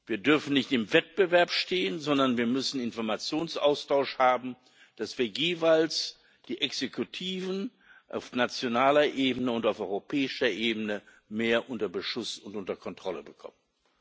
Wir dürfen nicht im Wettbewerb stehen, sondern wir müssen Informationsaustausch haben, damit wir jeweils die Exekutiven auf nationaler Ebene und auf europäischer Ebene mehr unter Beschuss und unter Kontrolle bekommen.